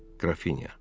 Qrafinya.